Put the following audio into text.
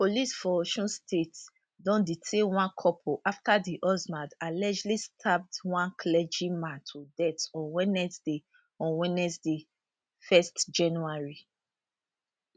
police for osun state don detain one couple afta di husband allegedly stab one clergy man to death on wednesday on wednesday 1 january